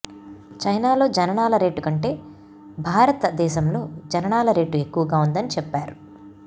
చైనాలో జననాల రేటు కంటే భారత దేశంలో జననాల రేటు ఎక్కువగా ఉందని చెప్పారు